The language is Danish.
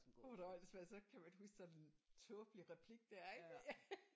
Gud hvor er det åndssvagt så kan man huske sådan en tåbelig replik der ik